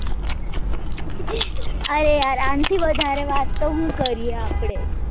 અરે યાર આંના થી વધારે વાત તો હું કરીએ આપડે